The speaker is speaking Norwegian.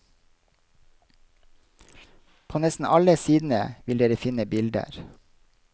På nesten alle sidene vil dere finne bilder.